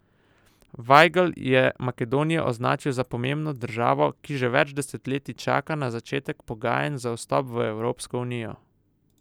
Vajgl je Makedonijo označil za pomembno državo, ki že več desetletij čaka na začetek pogajanj za vstop v Evropsko unijo.